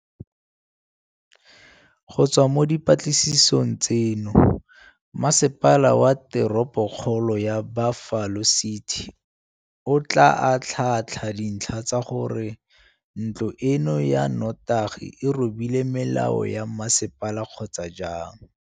Go tswa mo dipatlisisong tseno, Masepala wa Teropokgolo ya Buffalo City o tla atlhaatlha dintlha tsa gore ntlo eno ya notagi e robile melao ya masepala kgotsa jang.